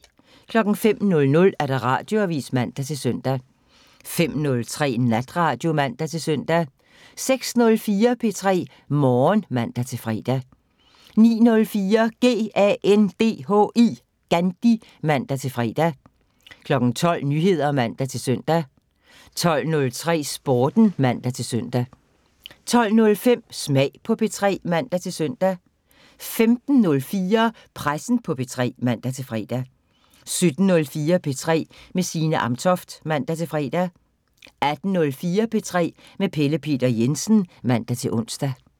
05:00: Radioavisen (man-søn) 05:03: Natradio (man-søn) 06:04: P3 Morgen (man-fre) 09:04: GANDHI (man-fre) 12:00: Nyheder (man-søn) 12:03: Sporten (man-søn) 12:05: Smag på P3 (man-søn) 15:04: Pressen på P3 (man-fre) 17:04: P3 med Signe Amtoft (man-fre) 18:04: P3 med Pelle Peter Jensen (man-ons)